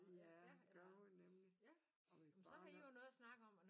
Ja gør hun nemlig og mit barn er